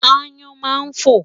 Aáyán máa ń fò.